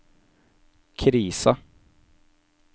krisa